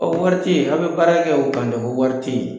Ɔ wari te ye a be baara kɛ o kan de ko wari te ye